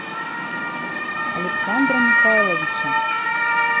александра михайловича